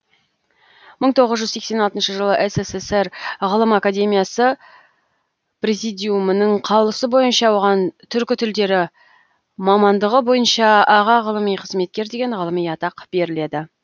мың тоғыз жүз сексен алтыншы жылы ссср ғылым академиясы президиумының қаулысы бойынша оған түркі тілдері мамандығы бойынша аға ғылыми қызметкер деген ғылыми атақ беріледі